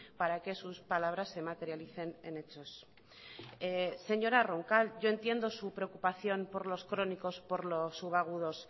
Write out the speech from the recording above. para que sus palabras se materialicen en hechos señora roncal yo entiendo su preocupación por los crónicos por los subagudos